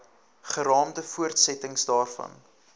geraamde voortsetting daarvan